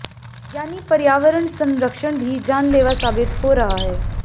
यानी पर्यावरण संरक्षण भी जानलेवा साबित हो रहा है